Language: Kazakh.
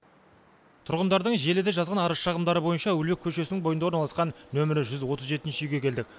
тұрғындардың желіде жазған арыз шағымдары бойынша әуелбеков көшесінің бойында орналасқан нөмірі жүз отыз жетінші үйге келдік